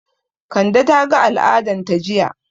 Kande ta ga al'adan ta jiya